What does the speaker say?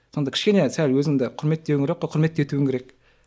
сонда кішкене сәл өзіңді құрметтетуің керек қой құрмет етуің керек